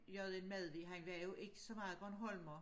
J N Madvig han var jo ikke så meget bornholmer